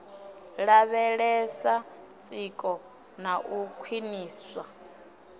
lavhelesa tsiko na u khwiniswa